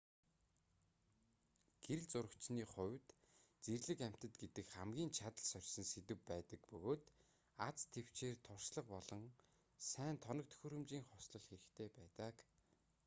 гэрэл зурагчны хувьд зэрлэг амьтад гэдэг хамгийн чадал сорьсон сэдэв байдаг бөгөөд аз тэвчээр туршлага болон сайн тоног төхөөрөмжийн хослол хэрэгтэй байдаг